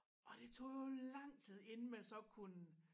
Og det tog jo lang tid inden man så kunne